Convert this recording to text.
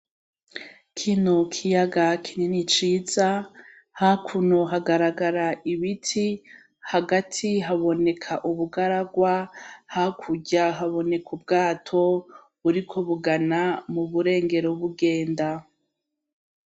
Kino kiyaga kinini ciza hakuno hagaragara ibiti hagati haboneka ubugaragwa hakurya haboneka ubwato buriko bugana mu burengero bugenda